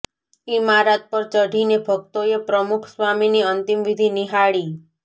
ઈમારત પર ચઢીને ભક્તોએ પ્રમુખ સ્વામીની અંતિમ વિધિ નિહાળી